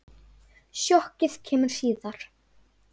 Sjokkið kemur síðar.